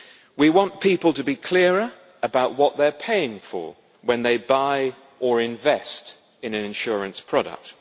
We want people to be clearer about what they are paying for when they buy or invest in an insurance product.